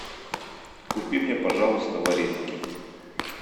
купи мне пожалуйста вареники